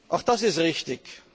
Auch das ist richtig!